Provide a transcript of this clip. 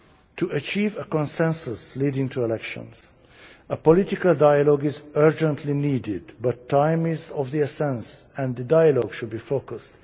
To achieve a consensus leading to elections, a political dialogue is urgently needed, but time is of the essence and the dialogue should be focused.